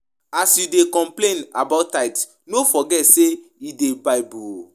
As you dey complain about tithe no forget say e dey bible oo